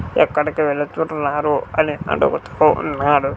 ఎక్కడికి వెళుతున్నారు అని అడుగుతూ ఉన్నారు.